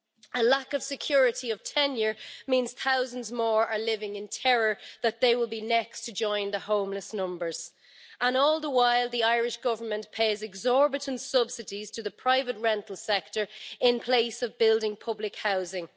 A lack of security of tenure means thousands more are living in terror that they will be next to join the homeless numbers, and all the while the Irish government pays exorbitant subsidies to the private rental sector in place of building public housing.